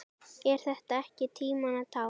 Er þetta ekki tímanna tákn?